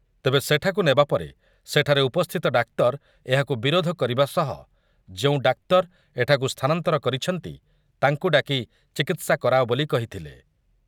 ତେବେ ସେଠାକୁ ନେବା ପରେ ସେଠାରେ ଉପସ୍ଥିତ ଡାକ୍ତର ଏହାକୁ ବିରୋଧ କରିବା ସହ ଯେଉଁ ଡାକ୍ତର ଏଠାକୁ ସ୍ଥାନାନ୍ତର କରିଛନ୍ତି ତାଙ୍କୁ ଡାକି ଚିକିତ୍ସା କରାଅ ବୋଲି କହିଥିଲେ ।